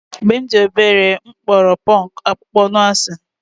Mgbe m dị obere, m kpọrọ ponku akpụkpọ anụ asị.